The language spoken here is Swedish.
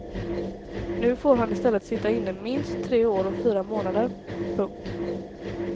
Nu får han i stället sitta inne minst tre år och fyra månader. punkt